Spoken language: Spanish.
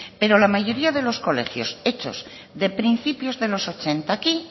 pero la mayoría de los colegios hechos de principios de los ochenta a aquí